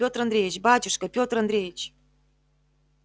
пётр андреич батюшка пётр андреич